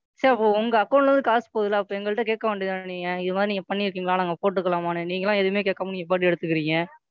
சரி அப்போ உங்க Account ல இருந்து காசு போகுதுல்ல அப்ப எங்கள்ட்ட கேட்க வேண்டியது தான நீங்க இந்த மாதிரி நீங்க பண்ணிருக்கீங்களா? நாங்க போட்டுக்கலாமான்னு? நீங்களா எதுவுமே கேட்காம நீங்க பாட்டுக்கு எடுத்துக்குறீங்க,